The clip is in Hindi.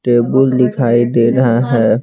टेबल दिखाई दे रहा है।